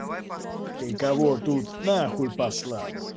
ты кого тут на хуй послал